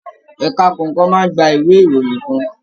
Ẹka kọọkan máa n gbà ìwé ìròyìn kàn.